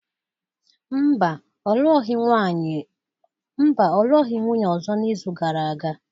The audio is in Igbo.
Mba, ọ lụọghị nwunye ọzọ n’izu gara aga